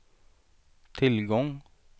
tillgång